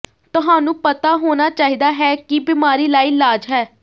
ਤੁਹਾਨੂੰ ਪਤਾ ਹੋਣਾ ਚਾਹੀਦਾ ਹੈ ਕਿ ਬਿਮਾਰੀ ਲਾਇਲਾਜ ਹੈ